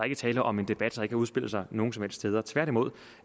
er tale om en debat har udspillet sig nogen som helst steder tværtimod